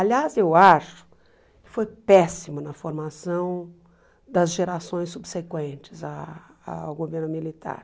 Aliás, eu acho que foi péssimo na formação das gerações subsequentes ah ao governo militar.